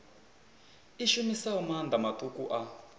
i shumisaho maanḓa maṱuku a